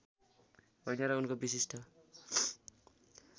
होइन र उनको विशिष्ट